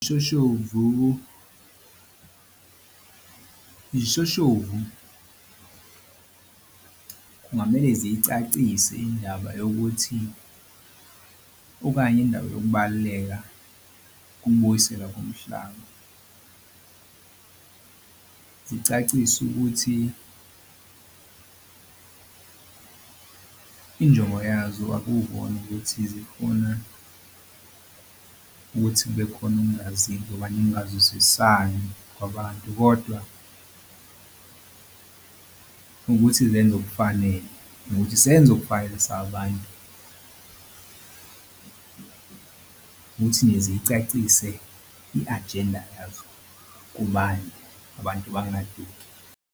Iy'shoshovu, izishoshovu kungamele zicacise indaba yokuthi okanye indaba yokubaluleka kobuyisela komhlaba. Zicaciswe ukuthi injongo yazo akukona ukuthi zifuna ukuthi kube khona ukungazi noma ningazwisani kwabantu kodwa ukuthi zenze okufanele nokuthi senze okufanele sabantu. Ukuthi nje zicacise i-ajenda yazo kubantu abantu bangaduki.